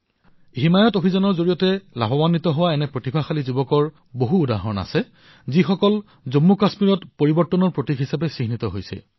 হিমায়ৎ অভিযানৰ দ্বাৰা লাভান্বিত প্ৰতিভাশালী যুৱচামৰ এনে বহু উদাহৰণ আছে যি জম্মুকাশ্মীৰত পৰিৱৰ্তনৰ প্ৰতীক হিচাপে বিবেচিত হৈছে